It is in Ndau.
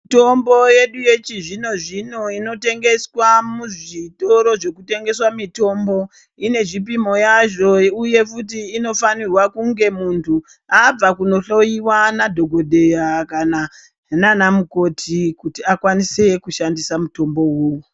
Mutombo yedu yechizvino zvino inotengeswa muzvitoro zvinotengesa mitombo ine zvipimo yazvo uye futi kuti muntu abva kunohloyiwa nemadhokodheya kana nanamukoti kuti akwanise kushandisa mutombo wona uwowo.